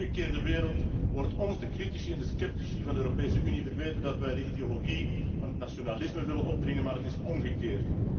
In uw omgekeerde wereld wordt ons, de critici en de sceptici van de Europese Unie, verweten dat wij de ideologie van het nationalisme willen opdringen, maar het is omgekeerd!